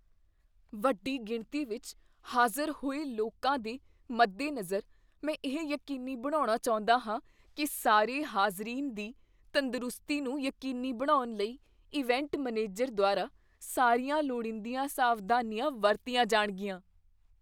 ਵੱਡੀ ਗਿਣਤੀ ਵਿੱਚ ਹਾਜ਼ਰ ਹੋਏ ਲੋਕਾਂ ਦੇ ਮੱਦੇਨਜ਼ਰ, ਮੈਂ ਇਹ ਯਕੀਨੀ ਬਣਾਉਣਾ ਚਾਹੁੰਦਾ ਹਾਂ ਕੀ ਸਾਰੇ ਹਾਜ਼ਰੀਨ ਦੀ ਤੰਦਰੁਸਤੀ ਨੂੰ ਯਕੀਨੀ ਬਣਾਉਣ ਲਈ ਇਵੈਂਟ ਮੈਨੇਜਰ ਦੁਆਰਾ ਸਾਰੀਆਂ ਲੋੜੀਂਦੀਆਂ ਸਾਵਧਾਨੀਆਂ ਵਰਤੀਆਂ ਜਾਣਗੀਆਂ।